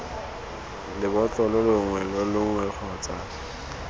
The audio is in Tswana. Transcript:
lebotlolo longwe lo longwe kgotsa